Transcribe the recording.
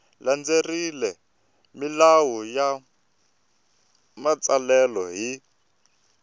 landzelerile milawu ya matsalelo hi